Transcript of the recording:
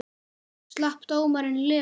Slapp dómarinn lifandi?